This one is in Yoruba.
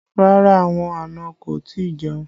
Rárá, àwọn àna kò tí ì jẹun